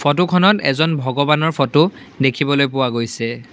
ফটোখনত এজন ভগৱানৰ ফটো দেখিবলৈ পোৱা গৈছে।